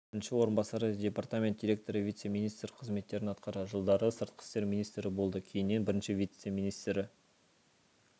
бірінші орынбасары департамент директоры вице-министр қызметтерін атқарды жылдары сыртқы істер министрі болды кейіннен бірінші вице-министрі